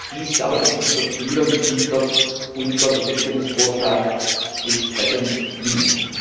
Dies aber ist unser Ziel, und dem wird unser Gesetzgebungsvorschlag entsprechend dienen.